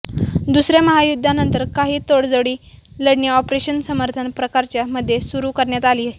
दुसऱ्या महायुद्धानंतर काही तडजोडी लढणे ऑपरेशन समर्थन प्रकारच्या मध्ये सुरू करण्यात आली